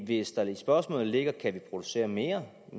hvis der i spørgsmålet ligger kan producere mere